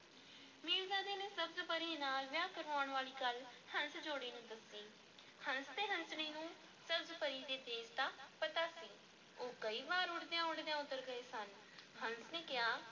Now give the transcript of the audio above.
ਮੀਰਜ਼ਾਦੇ ਨੇ ਸਬਜ਼-ਪਰੀ ਨਾਲ ਵਿਆਹ ਕਰਵਾਉਣ ਵਾਲੀ ਗੱਲ ਹੰਸ-ਜੋੜੇ ਨੂੰ ਦੱਸੀ, ਹੰਸ ਅਤੇ ਹੰਸਣੀ ਨੂੰ ਸਬਜ਼-ਪਰੀ ਦੇ ਦੇਸ ਦਾ ਪਤਾ ਸੀ, ਉਹ ਕਈ ਵਾਰ ਉੱਡਦਿਆਂ ਉੱਡਦਿਆਂ ਉੱਧਰ ਗਏ ਸਨ ਹੰਸ ਨੇ ਕਿਹਾ,